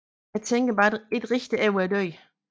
Jeg tænker bare ikke rigtigt over døden